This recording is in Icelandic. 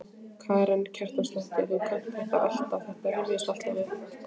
Karen Kjartansdóttir: Þú kannt þetta alltaf, þetta rifjast alltaf upp?